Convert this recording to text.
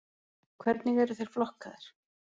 Hvernig eru þeir flokkaðir?